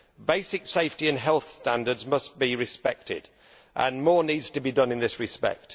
Basic safety and health standards must be respected and more needs to be done in this respect.